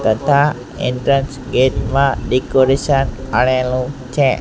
તથા entrance gate માં decoration કરેલુ છે.